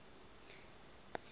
hahn banach theorem